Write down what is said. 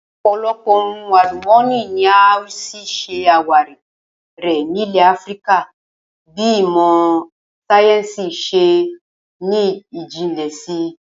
Ò̩pò̩lo̩pò̩ ohun àlùmó̩nì ni a ó s̩ì s̩e àwárí rè̩ nílè̩ Áfíríkà bí ìmò̩ sáyé̩ǹsì s̩e ní jinlè̩ si